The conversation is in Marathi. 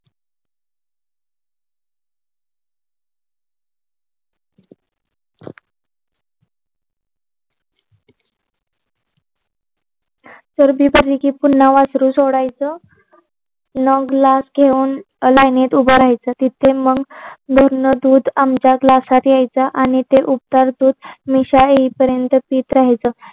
सर्दी पुन्हा वासरू सोडायचं मग ग्लास घेऊन लाईनीत उभं राहायचं तिथे मग भरणं दूध आमच्या ग्लासात यायचं आणि ते उबदार दूध मिश्या येईपर्यंत पीत राहायचं